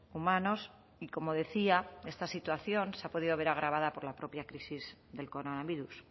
humanos y como decía esta situación se ha podido ver agravada por la propia crisis del coronavirus